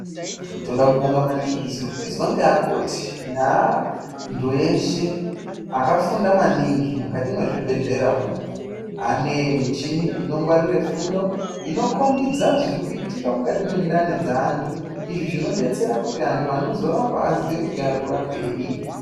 Toda kubonga maningi zvirikuizwa ngeakoti neantu eshe akafunda maningi mukati mwezvibhehlera umu ane michini inongwarire fundo inokhombidza zvirikuitika mukati mwendani dzeantu. Izvi zvinodetsera kuti antu anozorapa kuti aziye kuti arikurapeyi.